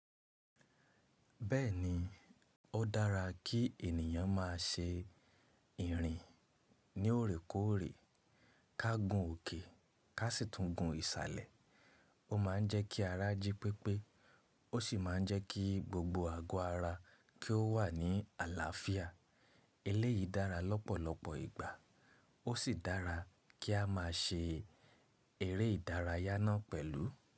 Bẹ́ẹ̀ni, ó dára kí ènìyàn má ṣe ìrìn ní òrékóòrè ká gùn òkè ká sì tún gun ìsàlẹ̀. Ó ma ń jẹ́ kí ara jí pépé, ó sì ma ń jẹ́ kí gbogbo àgọ́ ara kí ó wà ní àlàáfíà. Eléyìí dára lọ́pọ̀lọpọ̀ ìgbà, ó sì dára kí a má ṣe eré ìdárayá náà pẹ̀lú.